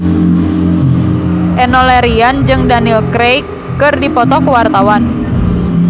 Enno Lerian jeung Daniel Craig keur dipoto ku wartawan